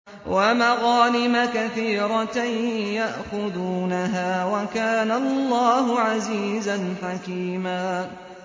وَمَغَانِمَ كَثِيرَةً يَأْخُذُونَهَا ۗ وَكَانَ اللَّهُ عَزِيزًا حَكِيمًا